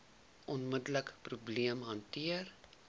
onmiddelike probleem hanteer